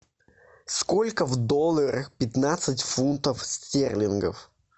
сколько в долларах пятнадцать фунтов стерлингов